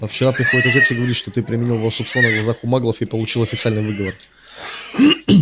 а вчера приходит отец и говорит что ты применил волшебство на глазах у маглов и получил официальный выговор